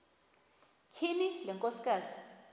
tyhini le nkosikazi